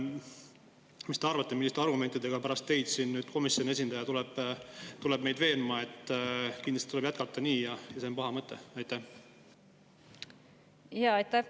Mis te arvate, milliste argumentidega tuleb pärast teid komisjoni esindaja meid veenma, et kindlasti tuleb jätkata nii, ja et see on paha mõte?